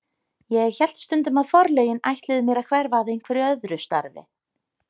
Ég hélt stundum að forlögin ætluðu mér að hverfa að einhverju öðru starfi.